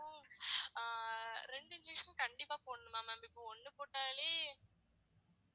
ஆஹ் ரெண்டு injection உம் கண்டிப்பா போடணுமா ma'am இப்ப ஒண்ணு போட்டாலே